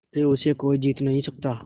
फिर उसे कोई जीत नहीं सकता